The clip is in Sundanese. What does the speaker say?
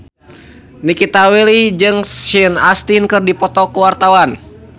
Nikita Willy jeung Sean Astin keur dipoto ku wartawan